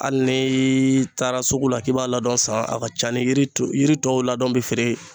Hali ni taara sugu la k'i b'a ladɔn san a ka ca ni yiri tɔw ladɔn bɛ feere